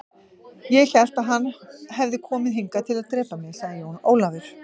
Ég hélt að hann hefði komið hingað til að drepa mig, sagði Jón Ólafur.